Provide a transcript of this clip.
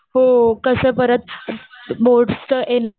हो. कसं परत बोर्ड्सचं